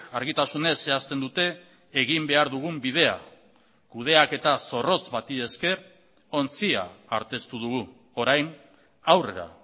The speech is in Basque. argitasunez zehazten dute egin behar dugun bidea kudeaketa zorrotz bati esker ontzia arteztu dugu orain aurrera